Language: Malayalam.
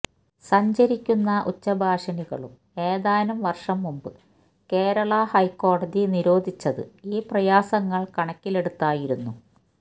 സഞ്ചരിക്കുന്ന ഉച്ചഭാഷിണികളും ഏതാനും വര്ഷം മുന്പ് കേരള ഹൈക്കോടതി നിരോധിച്ചത് ഈ പ്രയാസങ്ങള് കണക്കിലെടുത്തായിരുന്നു